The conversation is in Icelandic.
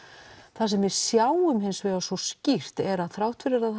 það sem við sjáum hins vegar svo skýrt er að þrátt fyrir að